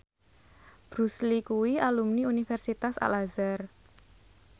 Bruce Lee kuwi alumni Universitas Al Azhar